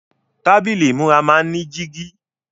Tábílì ìmúra máa ń ní jígí.